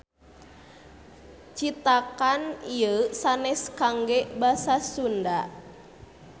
Citakan ieu sanes kangge basa Sunda